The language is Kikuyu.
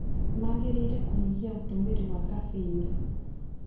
Mangĩrĩire kũnyihia ũtũmĩri wa caffeini.